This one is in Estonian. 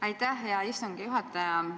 Aitäh, hea istungi juhataja!